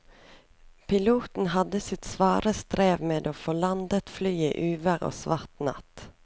Piloten hadde sitt svare strev med å få landet flyet i uvær og svart natt.